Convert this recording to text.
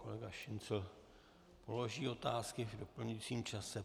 Kolega Šincl položí otázky v doplňujícím čase.